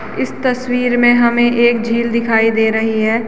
इस तस्वीर में हमें एक झील दिखाई दे रही है।